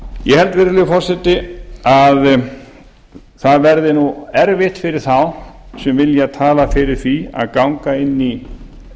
ég held virðulegi forseti að það verði nú erfitt fyrir þá sem vilja tala fyrir því að ganga inn í